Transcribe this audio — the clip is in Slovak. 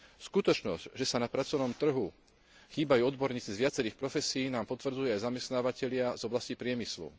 Skutočnosť, že na pracovnom trhu chýbajú odborníci z viacerých profesií nám potvrdzujú aj zamestnávatelia z oblasti priemyslu.